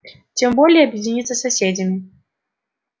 тем более объединиться соседями